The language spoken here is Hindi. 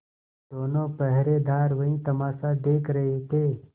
दोनों पहरेदार वही तमाशा देख रहे थे